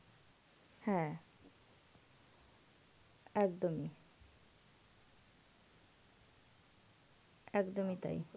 হ্যাঁ, একদম ই, একদন ই তাই.